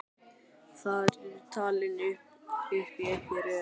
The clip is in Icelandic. Þar eru talin upp í einni röð